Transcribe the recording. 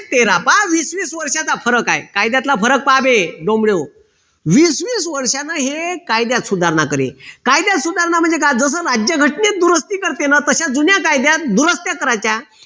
तेरा पहा वीस वीस वर्षाचा फरक आहे कायद्यातला फरक पहाबे वीस वीस वर्षां हे कायद्यात सुधारणा करे कायद्यात सुधारणा म्हणजे काय जस राज्यघटनेत दुरुस्ती करते न तश्या जुन्या कायद्यात दुरुस्त्या करायच्या